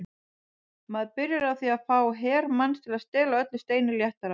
Maður byrjar á því að fá her manns til að stela öllu steini léttara.